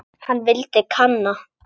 Hann vildi kanna.